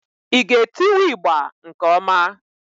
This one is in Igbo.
ị ga etiwu ịgbà nke ọma?